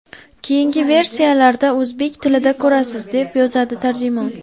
Keyingi versiyalarda o‘zbek tilida ko‘rasiz”, – deb yozadi tarjimon.